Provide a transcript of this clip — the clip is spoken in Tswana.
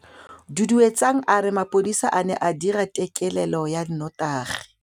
Duduetsang a re mapodisa a ne a dira têkêlêlô ya nnotagi.